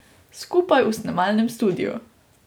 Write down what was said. Skupaj v snemalnem studiu.